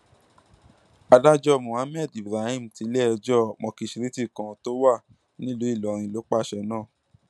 adájọ mohammed ibrahim tiléẹjọ mọkiṣréètì kan tó wà nílùú ìlọrin ló pàṣẹ náà